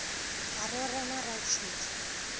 a re o rema ratšhidi